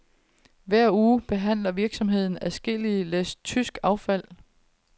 Hver uge behandler virksomheden adskillige læs tysk affald.